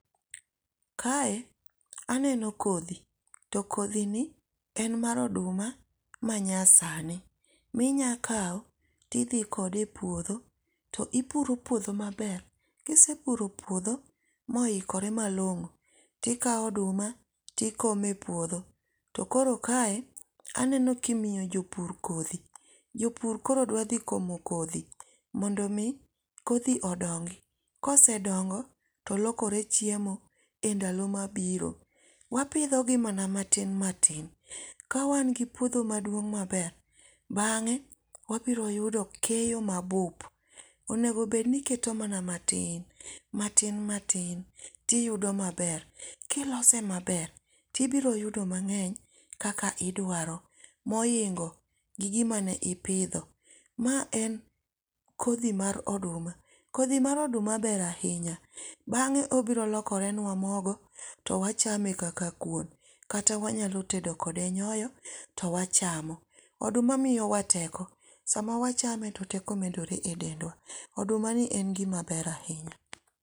Kae aneno kodhi. To kodhi ni en mar oduma manyasani. Minyakawo tidhi kode e puodho, to ipuro puodho maber. Kisepuro puodho ma oikore malongó, tikawo oduma tikomo e puodho. To koro kae aneno kimiyo jopur kodhi. Jopur koro dwa dhi komo kodhi mondo omi kodhi odongi. Kosedongo to lokore chiemo e ndalo mabiro. Wapidho gi mana matin matin. Ka wan gi puodho maduong' maber, bangé wabiro yudo keyo mabup. Onego bed ni iketo mana matin, matin, matin, to iyudo maber. Kilose maber, to ibirio yudo mangény kaka idwaro. Mohingo gi gima ne ipidho. Ma en kodhi mar oduma. Kodhi mar oduma ber ahinya. Bangé obiro lokore nwa mogo to wachame kaka kuon. Kata wanyalo tedo kode nyoyo to wachamo. Oduma miyo wa teko, sama wachame to teko medore e dendwa. Odumani en gima ber ahinya.